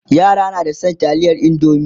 yara na da San taliyar indomie